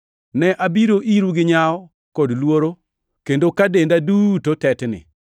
Ne abiro iru gi nyawo kod luoro, kendo ka denda duto tetni.